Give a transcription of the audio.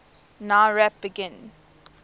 nowrap begin